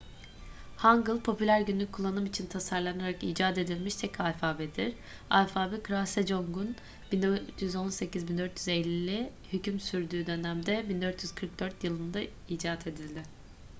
hangeul popüler günlük kullanım için tasarlanarak icat edilmiş tek alfabedir. alfabe kral sejong'un 1418 – 1450 hüküm sürdüğü dönemde 1444 yılında icat edildi